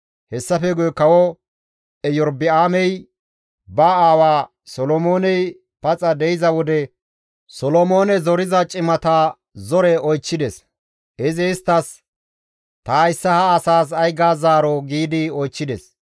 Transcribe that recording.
Hessafe guye kawo Erobi7aamey ba aawa Solomooney paxa de7iza wode Solomoone zoriza cimata zore oychchides. Izi isttas, «Ta hayssa ha asaas ay ga zaaroo?» giidi oychchides.